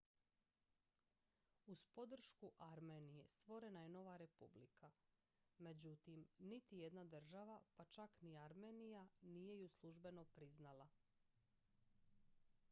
uz podršku armenije stvorena je nova republika međutim niti jedna država pa čak ni armenija nije ju službeno priznala